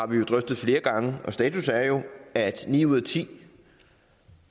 flere gange drøftet og status er jo at